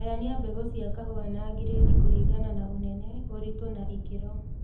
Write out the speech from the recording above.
Gayania mbegũ cia kahũa na giredi kũlingana na ũnene, ũritũ na ikĩro